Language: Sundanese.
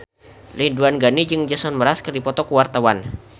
Ridwan Ghani jeung Jason Mraz keur dipoto ku wartawan